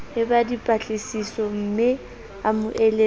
ba dipatlisisomme a mo eletse